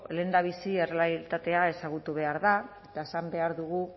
lehendabizi errealitatea ezagutu behar da eta esan behar dugu